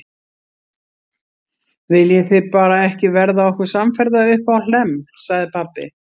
Viljið þið bara ekki verða okkur samferða uppá Hlemm, sagði pabbi.